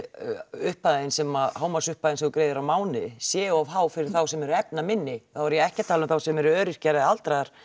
upphæðin sem hámarksupphæðin sem þú greiðir er á mánuði sé of há fyrir þá sem eru efnaminni þá er ég ekki að tala um þá sem eru öryrkjar eða aldraðir